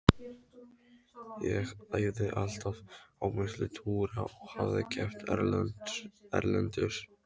Ég æfði alltaf á milli túra og hafði keppt erlendis.